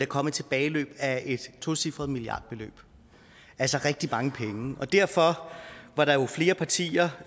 komme et tilbageløb af et tocifret milliardbeløb altså rigtig mange penge og derfor var der jo flere partier